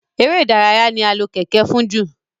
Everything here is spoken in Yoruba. èrè ìdárayá ní a lò Kẹ̀kẹ́ fún jù